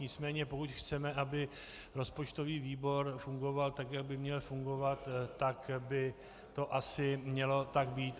Nicméně pokud chceme, aby rozpočtový výbor fungoval tak, jak by měl fungovat, tak by to asi mělo tak být.